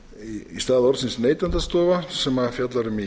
í stað orðsins neytendastofa sem fjallað er um í